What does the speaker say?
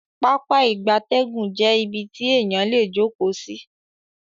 Pápá ìgbatẹ́gùn jé ibí tí eyan lẹ jókó sí